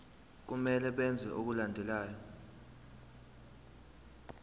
kumele benze okulandelayo